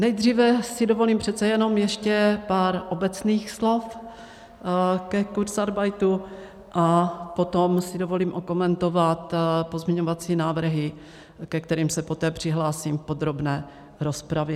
Nejdříve si dovolím přece jenom ještě pár obecných slov ke kurzarbeitu a potom si dovolím okomentovat pozměňovací návrhy, ke kterým se poté přihlásím v podrobné rozpravě.